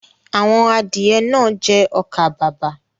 Àwọn adìẹ náà jẹ ọkà-bàbà.